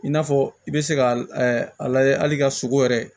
I n'a fɔ i bɛ se ka a lajɛ hali ka sogo yɛrɛ